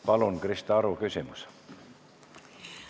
Palun, Krista Aru, küsimus!